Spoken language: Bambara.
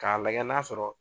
K'a lagɛ n'a sɔrɔ